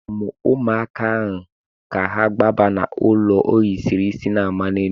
Akpọrọ m ụmụaka ka ha gbaba n'elu ohiri isi na-amali elu.